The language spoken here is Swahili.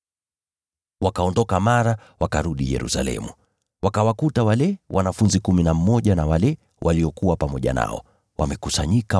Wakaondoka mara, wakarudi Yerusalemu. Wakawakuta wale wanafunzi kumi na mmoja na wale waliokuwa pamoja nao, wamekusanyika